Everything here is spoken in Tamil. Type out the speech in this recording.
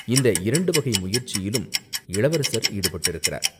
இந்த இரண்டு வகை முயற்சியிலும் இளவரசர் ஈடுபட்டிருக்கிறார்.